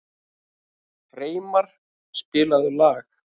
Freymar, spilaðu lag.